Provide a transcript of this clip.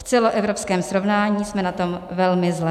V celoevropském srovnání jsme na tom velmi zle.